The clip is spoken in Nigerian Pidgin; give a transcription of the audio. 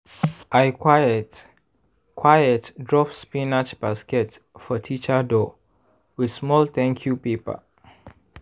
i quiet-quiet drop spinach basket for teacher door with small thank you paper.